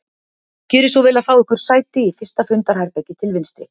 Gjörið svo vel að fá ykkur sæti í fyrsta fundarherbergi til vinstri